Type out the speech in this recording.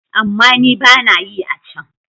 Amma ni ba na yi a can.